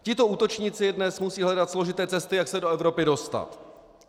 Tito útočníci dnes musí hledat složité cesty, jak se do Evropy dostat.